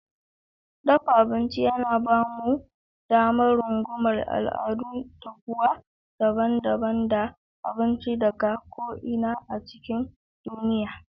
Dafa abinci yana ba mu damar rungumar al'adun dafuwa daban-daban da abinci daga ko'ina cikin duniya.